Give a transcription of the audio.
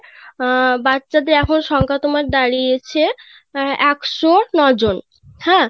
বাচ্চাদের আসল সংখ্যা তোমার দাড়িয়েছে অ্যাঁ ১০৯ জন